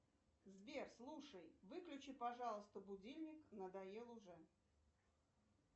сбер слушай выключи пожалуйста будильник надоел уже